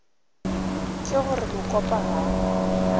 ke go re mokopa ga